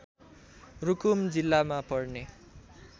रूकुम जिल्लामा पर्ने